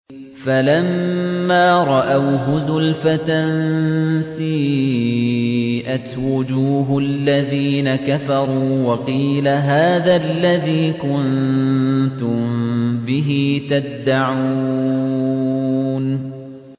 فَلَمَّا رَأَوْهُ زُلْفَةً سِيئَتْ وُجُوهُ الَّذِينَ كَفَرُوا وَقِيلَ هَٰذَا الَّذِي كُنتُم بِهِ تَدَّعُونَ